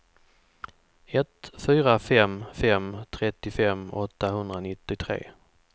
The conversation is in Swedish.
ett fyra fem fem trettiofem åttahundranittiotre